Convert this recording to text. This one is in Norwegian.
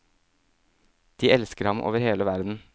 De elsker ham over hele verden.